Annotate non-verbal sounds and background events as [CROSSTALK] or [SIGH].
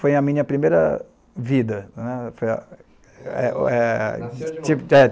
Foi a minha primeira vida né, foi a eh eh [UNINTELLIGIBLE]